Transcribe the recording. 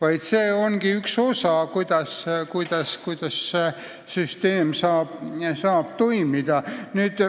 Ainult niimoodi süsteem saabki toimida.